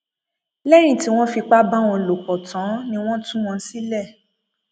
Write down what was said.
lẹyìn tí wọn fipá bá wọn lò pọ tán ni wọn tú wọn sílẹ